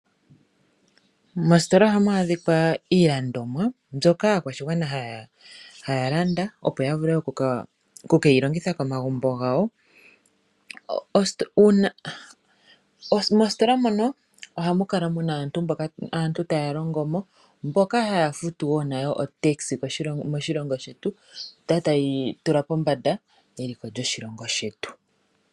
Mositola ohamu adhikwa iilandomwa mbyoka aakwashigwana haya landa opo yavule okukeyi longitha komagumbo gawo. Mositola mono ohamu kala muna aantu taya longo mo , mboka haya futu wo iifuta yepangelo opo yitule eliko lyoshilongo pombanda.